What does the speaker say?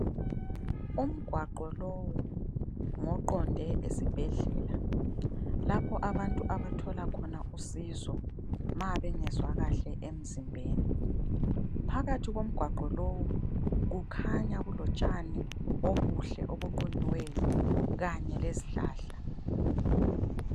Umgwaqo lowu ngoqonde esibhedlela lapho abantu abathola khona usizo ma bengezwa kahle emzimbeni . Phakathi komgwaqo lowu kukhanya kulotshani obuhle obuqunyiweyo kanye lezihlahla.